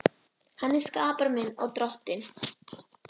Hann er skapari minn og Drottinn.